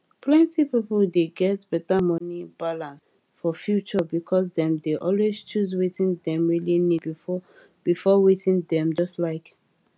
plenti people dey get better money balance for future because dem dey always choose wetin dem really need before before wetin dem just like